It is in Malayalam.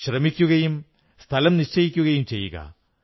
ശ്രമിക്കുകയും സ്ഥലം സ്വയം നിശ്ചയിക്കുകയും ചെയ്യുക